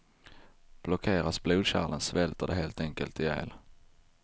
Blockeras blodkärlen svälter de helt enkelt ihjäl.